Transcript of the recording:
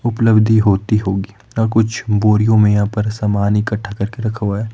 उपलब्धि होती होगी ना कुछ बोरियों में यहां पर समान इकट्ठा करके रखा हुआ है।